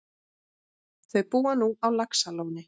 Þau búa nú á Laxalóni.